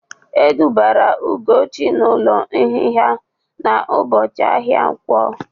E dubara Ugochi n'ụlọ nhịha na ụbọchị ahịa nkwọ